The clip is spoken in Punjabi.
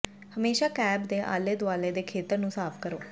ਹਮੇਸ਼ਾ ਕੈਪ ਦੇ ਆਲੇ ਦੁਆਲੇ ਦੇ ਖੇਤਰ ਨੂੰ ਸਾਫ਼ ਕਰੋ